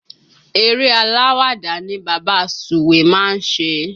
Eré aláwàdà ni bàbá sùwé má ń ṣe